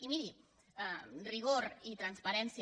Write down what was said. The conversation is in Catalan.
i miri rigor i transparència